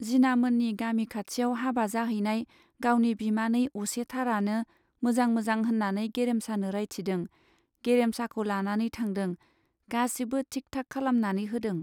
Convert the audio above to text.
जिनामोननि गामि खाथियाव हाबा जाहैनाय गावनि बिमानै असेथारानो मोजां मोजां होन्नानै गेरेमसानो रायथिदों, गेरेमसाखौ लानानै थांदों, गासिबो थिक थाक खालामनानै होदों।